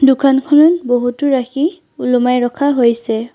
দোকানখন বহুতো ৰাশি ওলোমাই ৰখা হৈছে।